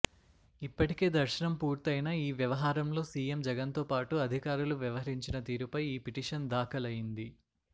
ఇప్పటికే దర్శనం పూర్తయినా ఈ వ్యవహారంలో సీఎం జగన్తో పాటు అధికారులు వ్యవహరించిన తీరుపై ఈ పిటిషన్ దాఖలైంది